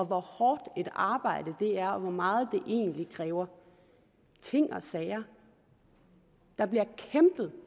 hvor hårdt et arbejde det er og hvor meget det egentlig kræver ting og sager der bliver kæmpet